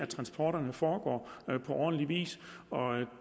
transporterne foregår på ordentlig vis og